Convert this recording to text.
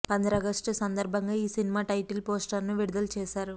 పంద్రాగస్టు సందర్భంగా ఈ cinema title poster ను విడుదల చేశారు